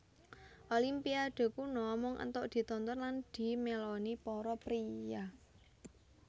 Olimpiade kuno mung entuk ditonton lan dimeloni para priya